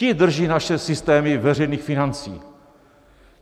Ti drží naše systémy veřejných financí.